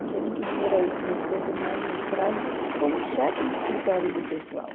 Não sei nem que dinheiro é esse nesse tempo andava na estrada como chefe de escritório de pessoal.